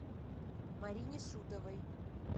марине шутовой